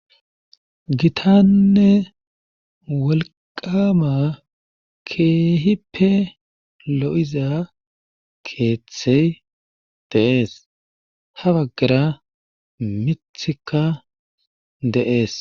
Gitanne wolqama keehippe lo'iza keeththay dee'ees. ha bagara miththikka de'ees.